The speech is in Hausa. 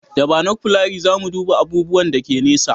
Da banofkulari za mu duba abubuwan da ke nesa